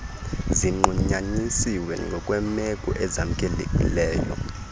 zinqunyanyiswe ngokweemeko ezamkelekileyo